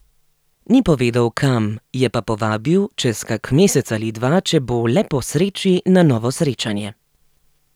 Ni povedal, kam, je pa povabil, čez kak mesec ali dva, če bo le po sreči, na novo srečanje.